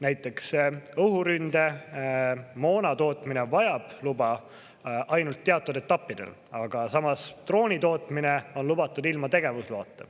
Näiteks õhuründemoona tootmine vajab luba ainult teatud etappidel, aga samas drooni tootmine on lubatud ilma tegevusloata.